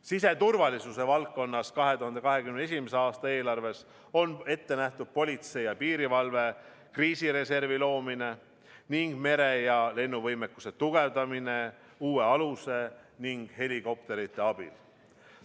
Siseturvalisuse valdkonnas on 2021. aasta eelarves ette nähtud politsei ja piirivalve kriisireservi loomine ning mere- ja lennuvõimekuse tugevdamine uue aluse ning helikopterite abil.